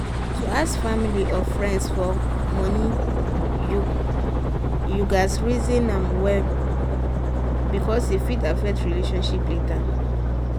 to ask family or friends for money you gats reason am well um because e fit affect relationship later.